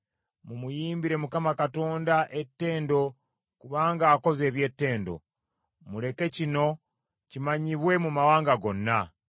Mumuyimbire Mukama Katonda ettendo kubanga akoze eby’ettendo; muleke kino kimanyibwe mu mawanga gonna.